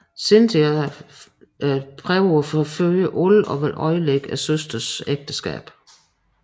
Cynthia søger at forføre alle og vil ødelægge søsterens ægteskab